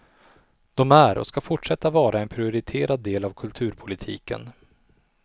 De är och ska fortsätta vara en prioriterad del av kulturpolitiken.